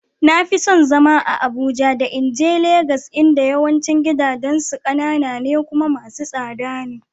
Na fi son zama a Abuja da in je Legas inda yawancin gidajensu kanana ne kuma masu tsada ne.